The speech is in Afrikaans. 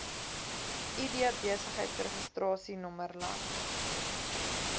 id besigheidsregistrasienommer land